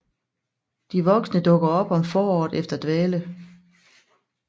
De voksne dukker op om foråret efter dvale